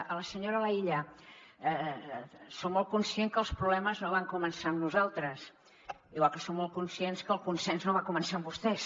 a la senyora laïlla som molt conscients que els problemes no van començar amb nosaltres igual que som molt conscients que el consens no va començar amb vostès